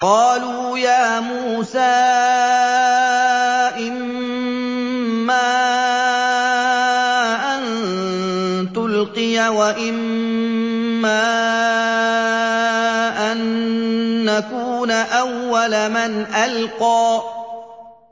قَالُوا يَا مُوسَىٰ إِمَّا أَن تُلْقِيَ وَإِمَّا أَن نَّكُونَ أَوَّلَ مَنْ أَلْقَىٰ